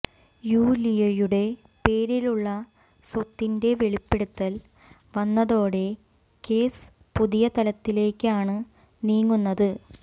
യൂലിയയുടെ പേരിലുള്ള സ്വത്തിന്റെ വെളിപ്പെടുത്തൽ വന്നതോടെ കേസ് പുതിയ തലത്തിലേക്കാണ് നീങ്ങുന്നത്